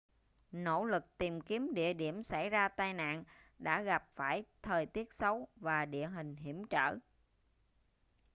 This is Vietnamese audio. nỗ lực tìm kiếm địa điểm xảy ra tai nạn đã gặp phải thời tiết xấu và địa hình hiểm trở